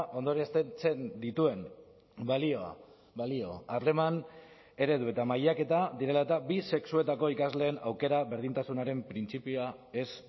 ondorioztatzen dituen balioa balio harreman eredu eta mailaketa direla eta bi sexuetako ikasleen aukera berdintasunaren printzipioa ez